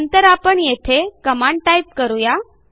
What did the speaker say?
नंतर आपण येथे कमांड टाईप करू या